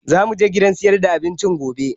Za mu je gidan sayar da abincin gobe